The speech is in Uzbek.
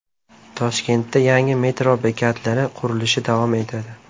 Toshkentda yangi metro bekatlari qurilishi davom etadi .